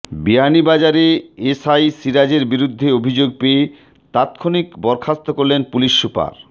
বিয়ানীবাজারে এসআই সিরাজের বিরুদ্ধে অভিযোগ পেয়ে তাৎক্ষণিক বরখাস্ত করলেন পুলিশ সুপার